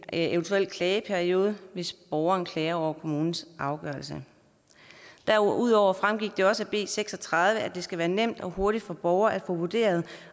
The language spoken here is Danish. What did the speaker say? eventuel klageperiode hvis borgeren klager over kommunens afgørelse derudover fremgik det også af b seks og tredive at det skal være nemt og hurtigt for borgere at få vurderet